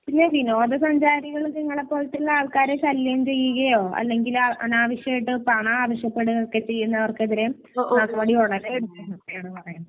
പിന്നെ വിനോദ സഞ്ചാരികൾ നിങ്ങളെ പോലെയുള്ള ആൾകാരെ ശല്യം ചെയ്യുകയോ അല്ലെങ്കിൽ അനാവശ്യായിട്ട് പണം ആവശ്യപ്പെടുകയോ ഒക്കെ ചെയ്യുന്ന ആൾകെതിരെ നടപടി തുടങ്ങിയിട്ടുണ്ട്.